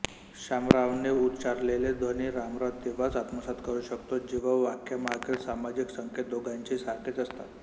शामरावने उच्चारलेला ध्वनी रामराव तेव्हाच आत्मसात करू शकतो जेव्हा वाक्यामागील सामाजिक संकेत दोघांचेही सारखेच असतात